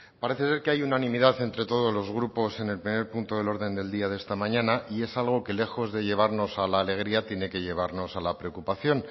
parece ser que hay unanimidad entre todos los grupos en el primer punto del orden del día de esta mañana y es algo que lejos de llevarnos a la alegría tiene que llevarnos a la preocupación